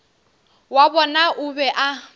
wa bona o be a